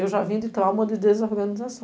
Eu já vinha de trauma de desorganização.